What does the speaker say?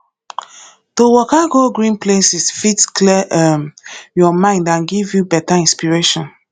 to waka go green places fit clear um your mind and give you better inspiration